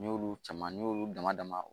N'i y'olu caman ni y'olu damadama